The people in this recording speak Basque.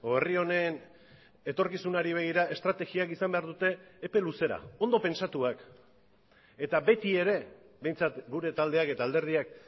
herri honen etorkizunari begira estrategiak izan behar dute epe luzera ondo pentsatuak eta betiere behintzat gure taldeak eta alderdiak